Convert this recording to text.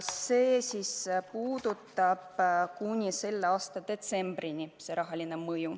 Seda rahalist mõju on arvestatud kuni selle aasta detsembrini.